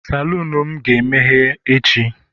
Salon m ga-emeghe echi